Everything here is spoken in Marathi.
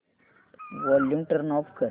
वॉल्यूम टर्न ऑफ कर